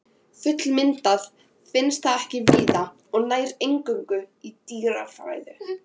Fullmyndað finnst það ekki víða og nær eingöngu í dýrafæðu.